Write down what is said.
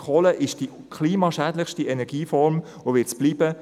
Kohle ist die klimaschädlichste Energieform und wird es bleiben.